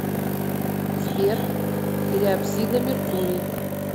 сбер периапсида меркурий